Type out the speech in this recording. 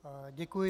Děkuji.